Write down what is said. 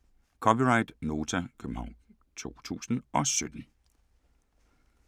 (c) Nota, København 2017